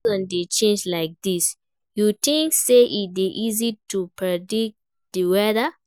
As seasons dey change like dis, you think say e dey easy to predict di weather?